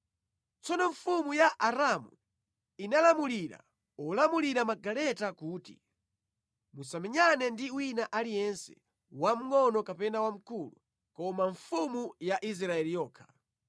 Tsono mfumu ya Aramu inalamulira olamulira magaleta kuti, “Musamenyane ndi wina aliyense, wamngʼono kapena wamkulu koma mfumu ya Israeli yokha.”